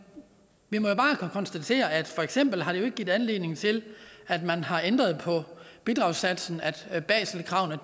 vi må bare konstatere at det for eksempel ikke har givet anledning til at man har ændret på bidragssatsen at baselkravene